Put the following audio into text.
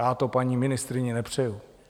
Já to paní ministryni nepřeju.